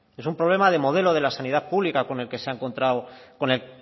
es un problema de modelo de la sanidad pública con el que se ha encontrado